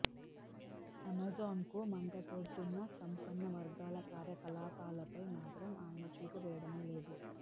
అమెజాన్కు మంటపెడుతున్న సంపన్నవర్గాల కార్యకలాపాలపై మాత్రం ఆయన చూపు వేయడమే లేదు